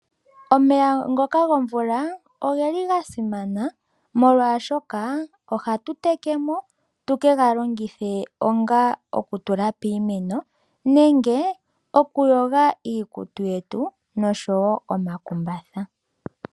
Omeya ngoka gomvula oga simana molwaashoka ohatu tekemo tukega longithe onga okutekela iimeno nenge okuyoga iikutu yetu noshowoo omakumbatha.